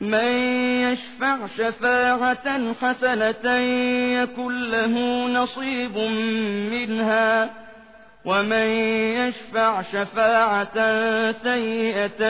مَّن يَشْفَعْ شَفَاعَةً حَسَنَةً يَكُن لَّهُ نَصِيبٌ مِّنْهَا ۖ وَمَن يَشْفَعْ شَفَاعَةً سَيِّئَةً